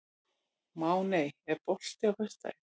Máney, er bolti á föstudaginn?